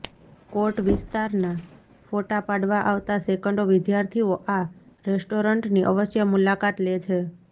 કોટ વિસ્તારના ફોટા પાડવા આવતા સેંકડો વિદ્યાર્થીઓ આ રેસ્ટોરન્ટની અવશ્ય મુલાકાત લે છે